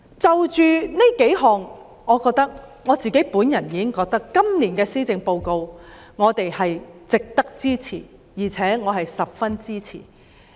單憑上述數項安排，我已認為今年的施政報告值得支持，且我是十分支持的。